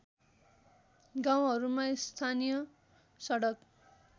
गाउँहरूमा स्थानीय सडक